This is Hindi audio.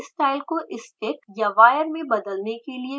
यहाँ bond style को stick या wire में बदलने के लिए विकल्प हैं